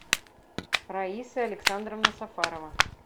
раиса александровна сафарова